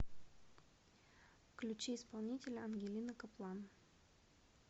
включи исполнителя ангелина каплан